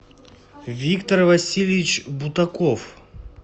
виктор васильевич бутаков